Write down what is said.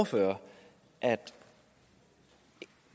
der er